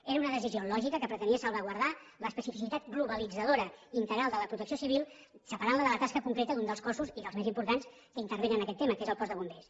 era una decisió lògica que pretenia salvaguardar l’especificitat globalitzadora i integral de la protecció civil separant la de la tasca concreta d’un dels cossos i dels més importants que intervenen en aquest tema que és el cos de bombers